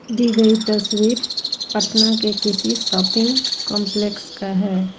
दी गई तस्वीर पटना के किसी शॉपिंग कंपलेक्स का है।